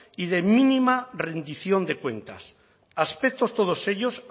y de mínima rendición de cuentas aspectos todos ellos